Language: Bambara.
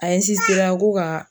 A ɛnsisitera ko kaa